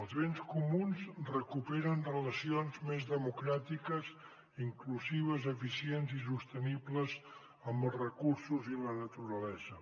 els béns comuns recuperen relacions més democràtiques inclusives eficients i sostenibles amb els recursos i la naturalesa